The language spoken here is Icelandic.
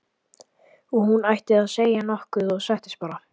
Og hún hætti við að segja nokkuð og settist bara.